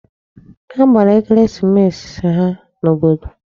Ha gbara ekeresimesi ha n'obodo.